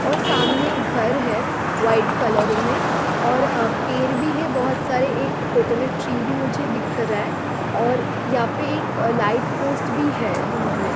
और सामने एक घर है वाइट कलर में और पेड़ भी है बहुत सारे एक कोकोनट ट्री भी मुझे दिख रहा है और यहां पर एक लाइक पोस्ट भी है दूर में।